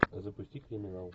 запусти криминал